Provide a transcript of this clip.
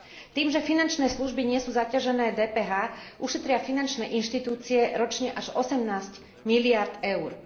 Tým, že finančné služby nie sú zaťažené DPH, ušetria finančné inštitúcie ročne až 18 miliárd eur.